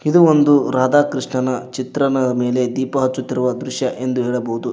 ಇದು ಒಂದು ರಾಧಾಕ್ರಿಷ್ಣನ ಚಿತ್ರನ ಮೇಲೆ ದೀಪ ಹಚ್ಚುತಿರುವ ದೃಶ್ಯ ಎಂದು ಹೇಳಬಹುದು.